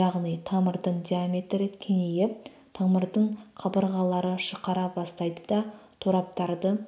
яғни тамырдың диаметрі кеңейіп тамырдың қабырғалары жұқара бастайды да тораптарды